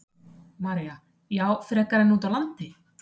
María: Já, frekar en út á land?